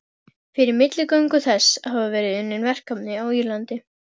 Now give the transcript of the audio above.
Fyrir milligöngu þess hafa verið unnin verkefni á Írlandi.